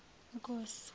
nkosi